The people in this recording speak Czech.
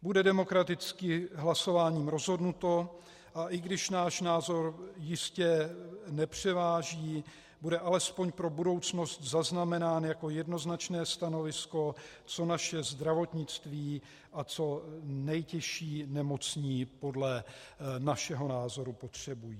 Bude demokraticky hlasováním rozhodnuto, a i když náš názor jistě nepřeváží, bude alespoň pro budoucnost zaznamenán jako jednoznačné stanovisko, co naše zdravotnictví a co nejtěžší nemocní podle našeho názoru potřebují.